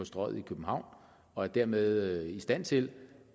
strøget i københavn og er dermed i stand til